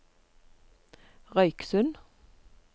Røyksund